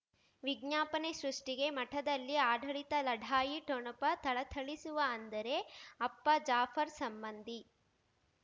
ವಿಜ್ಞಾಪನೆ ಸೃಷ್ಟಿಗೆ ಮಠದಲ್ಲಿ ಆಡಳಿತ ಲಢಾಯಿ ಠೊಣಪ ಥಳಥಳಿಸುವ ಅಂದರೆ ಅಪ್ಪ ಜಾಫರ್ ಸಂಬಂಧಿ